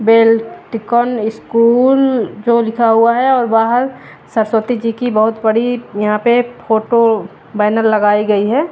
बेल्टकॉन school जो लिखा हुआ है और बाहर सरस्वती जी की बहोत बड़ी यहां पे फोटो बैनर लगाई गई है।